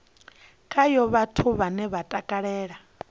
khayo vhathu vhane vha takalela